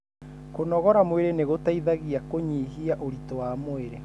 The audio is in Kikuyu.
Kunogora mwĩri nĩ gũteithagia kũnyihia ũritũ wa mwĩrĩ.